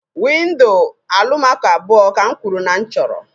Windo Alụmaco abụọ ka m kwuru na m chọrọ